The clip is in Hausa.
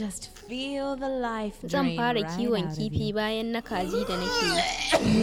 Zan fara kiwon kifi bayan na kaji da nake yi